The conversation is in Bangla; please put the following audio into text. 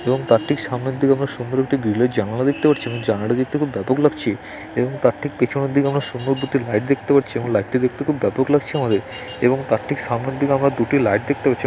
এবং তার ঠিক সামনের দিকে আমরা সুন্দর একটি গ্রিলের জানালা দেখতে পাচ্ছি এবং জানালাটি দেখতে খুব ব্যাপক লাগছে এবং তার ঠিক পেছনের দিকে আমরা সুন্দর দুটি লাইট দেখতে পাচ্ছি এবং লাইটটি দেখতে খুব ব্যাপক লাগছে আমাদের এবং তারঠিক সামনের দিকে আমরা দুটি লাইট দেখতে পাচ্ছি।